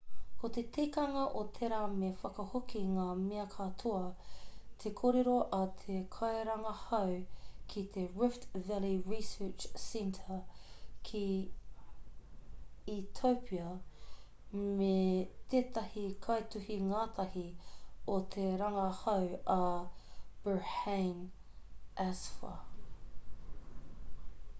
ko te tikanga o tērā me whakahoki ngā mea katoa te kōrero a te kairangahau ki te rift valley research service ki etiopia me tētahi kaituhi-ngātahi o te rangahau a berhane asfaw